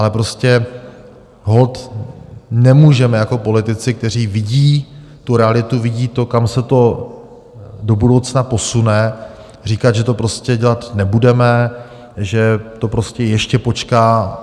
Ale prostě holt nemůžeme jako politici, kteří vidí tu realitu, vidí to, kam se to do budoucna posune, říkat, že to prostě dělat nebudeme, že to prostě ještě počká.